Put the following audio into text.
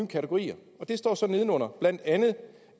kategorier og der står så nedenunder